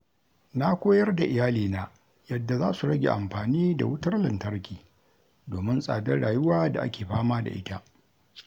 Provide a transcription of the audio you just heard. Na koyar da iyalina yadda za su rage amfani da wutar lantarki domin tsadar rayuwa da ake fama da ita.